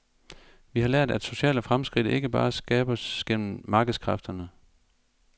Vi har lært, at sociale fremskridt ikke bare skabes gennem markedskræfterne.